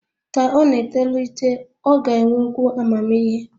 Ka ọ na-etolite, ọ ga-enwekwu amamihe